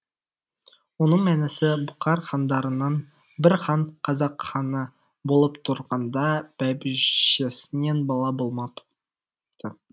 оның мәнісі бұқар хандарынан бір хан қазақ ханы болып тұрғанда бәйбішесінен бала болмапты